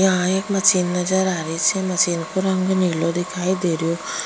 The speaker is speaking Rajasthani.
यहाँ एक मशीन नजर आरी छे मशीन का रंग नीला दिखाई देरो।